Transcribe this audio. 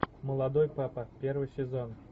молодой папа первый сезон